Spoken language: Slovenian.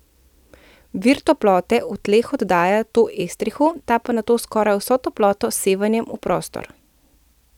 Vir toplote v tleh oddaja to estrihu, ta pa nato skoraj vso toploto s sevanjem v prostor.